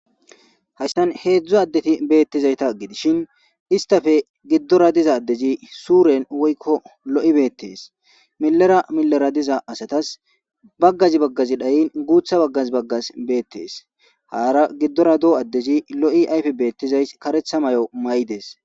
hayssan heedzdzo addeti beettizayta gidishin istafe giddora diza addezi suuren woykko lo7i beettees milera milera diza asatas baggazi baggazi dhayin guutha baggas baggas beettees haara giddora doo addezi lo7i ayfe beettizay karetha may7o may7dees